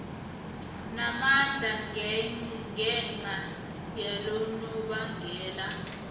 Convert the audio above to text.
namandla ngenca yalonobangela